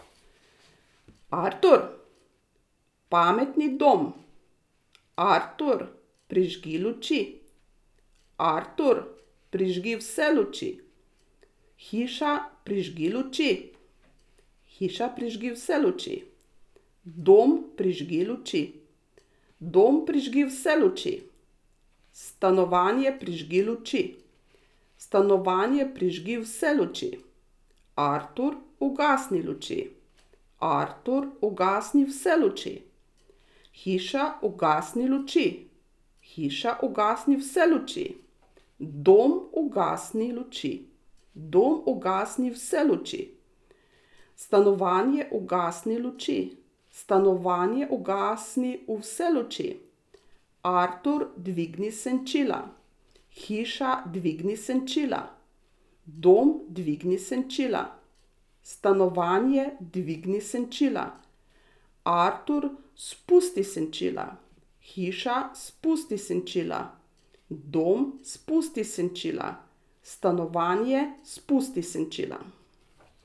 Artur. Pametni dom. Artur, prižgi luči. Artur, prižgi vse luči. Hiša, prižgi luči. Hiša, prižgi vse luči. Dom, prižgi luči. Dom, prižgi vse luči. Stanovanje, prižgi luči. Stanovanje, prižgi vse luči. Artur, ugasni luči. Artur, ugasni vse luči. Hiša, ugasni luči. Hiša, ugasni vse luči. Dom, ugasni luči. Dom, ugasni vse luči. Stanovanje, ugasni luči. Stanovanje, ugasni vse luči. Artur, dvigni senčila. Hiša, dvigni senčila. Dom, dvigni senčila. Stanovanje, dvigni senčila. Artur, spusti senčila Hiša, spusti senčila. Dom, spusti senčila. Stanovanje, spusti senčila.